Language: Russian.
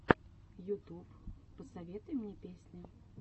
ютуб посоветуй мне песни